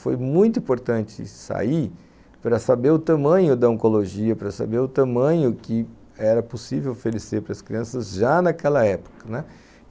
Foi muito importante sair para saber o tamanho da oncologia, para saber o tamanho que era possível oferecer para as crianças já naquela época, né.